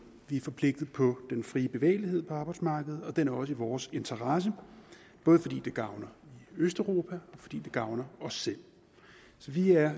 vi er forpligtet på den frie bevægelighed på arbejdsmarkedet og den er også i vores interesse både fordi det gavner østeuropa og fordi det gavner os selv vi er